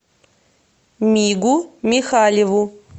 мигу михалеву